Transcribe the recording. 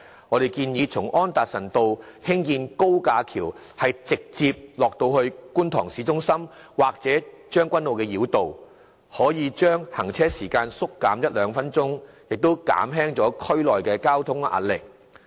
我們建議從安達臣道興建高架橋直達觀塘市中心或將軍澳繞道，如此可把行車時間縮減一至兩分鐘，有助紓緩區內交通壓力。